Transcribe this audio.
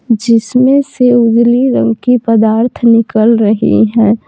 जिसमें से उजली रंग की पदार्थ निकल रही हैं।